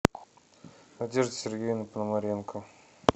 надежда сергеевна пономаренко